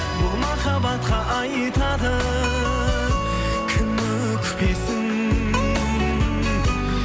бұл махаббатқа айтады кім өкпесін